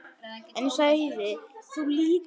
En ég sagði: Þú líka.